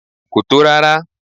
Kò tó rárá.